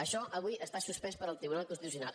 això avui està suspès pel tribunal constitucional